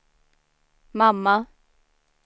mamma